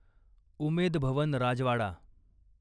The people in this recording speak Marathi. उमेद भवन राजवाडा